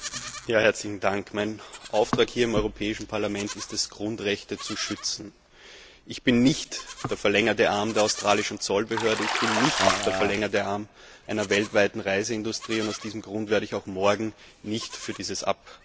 Frau Präsidentin! Mein Auftrag hier im Europäischen Parlament ist es, Grundrechte zu schützen. Ich bin nicht der verlängerte Arm der australischen Zollbehörde, auch nicht der verlängerte Arm einer weltweiten Reiseindustrie. Aus diesem Grund werde ich auch morgen nicht für dieses Abkommen stimmen.